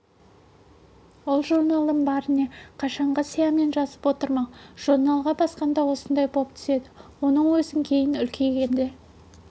ол журналдың бәріне қашанғы сиямен жазып отырмақ журналға басқанда осындай боп түседі оны өзің кейін үлкейгенде